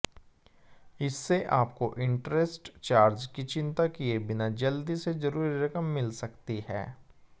इससे आपको interest charge की चिंता किए बिना जल्दी से जरूरी रकम मिल सकती है